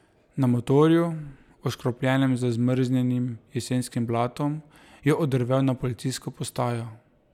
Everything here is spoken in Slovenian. Na motorju, oškropljenem z zmrznjenim jesenskim blatom, je oddrvel na policijsko postajo.